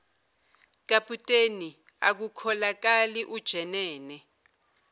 kaputeni akukholakali ujenene